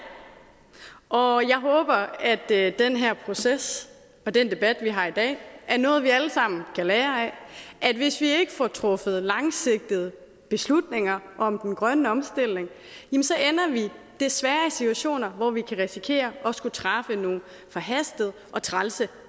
og jeg håber at den her proces og den debat vi har i dag er noget vi alle sammen kan lære af hvis vi ikke får truffet langsigtede beslutninger om den grønne omstilling ender vi desværre i situationer hvor vi kan risikere at skulle træffe nogle forhastede og trælse